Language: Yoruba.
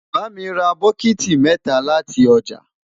bá mí rà bokiti mẹta láti ọjà